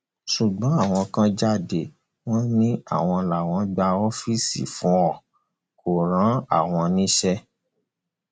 ṣùgbọn àwọn kan jáde wọn ni àwọn làwọn gba ọfíìsì fún un kó rán àwọn níṣẹ